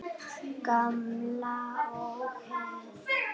Gamla ógeð!